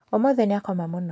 ũmũthĩ nĩakoma mũno